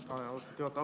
Aitäh, austatud juhataja!